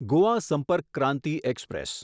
Goa Sampark Kranti express